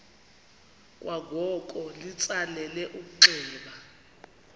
kwangoko litsalele umnxeba